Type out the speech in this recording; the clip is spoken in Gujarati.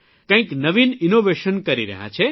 કંઇક નવીનInnovation કરી રહ્યા છે